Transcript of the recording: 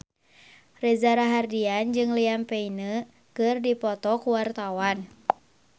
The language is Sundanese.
Reza Rahardian jeung Liam Payne keur dipoto ku wartawan